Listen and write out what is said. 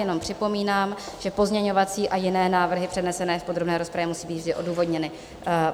Jenom připomínám, že pozměňovací a jiné návrhy přednesené v podrobné rozpravě musí být vždy odůvodněny.